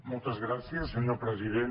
moltes gràcies senyor president